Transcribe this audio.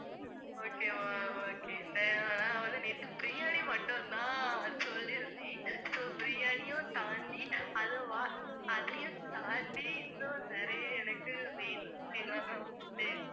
okay ma'am okay நான் வந்து நேத்து biryani மட்டுந்தான் சொல்லிருந்தேன். so biryani யும் தாண்டி, அதுவா~ அதையும் தாண்டி இன்னும் நிறைய எனக்கு வேணும் okay வா ma'am food உ